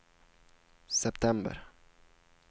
september